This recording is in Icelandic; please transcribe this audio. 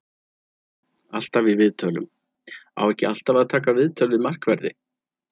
Alltaf í viðtölum: Á ekki alltaf að taka viðtöl við markverði?